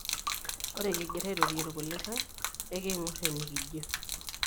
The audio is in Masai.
Ore kingiraa airorie irkulikai, ekiing'or enekijio.